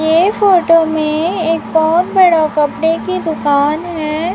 ये फोटो में एक बहोत बड़ा कपड़े की दुकान है।